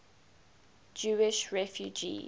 jewish refugees